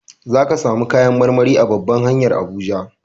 Za ka samu kayan marmari a babban hanyar Abuja.